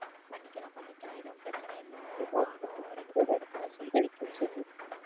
பண்ணிக்கலாம் பண்ணிக்கலாம் எதுவும் பிரச்சனை இல்லை நானும் ரெண்டு மூணு இடத்துல சொல்லி வைக்கிறேன்